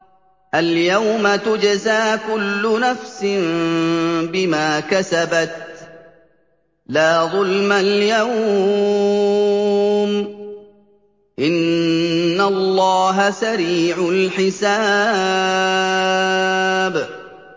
الْيَوْمَ تُجْزَىٰ كُلُّ نَفْسٍ بِمَا كَسَبَتْ ۚ لَا ظُلْمَ الْيَوْمَ ۚ إِنَّ اللَّهَ سَرِيعُ الْحِسَابِ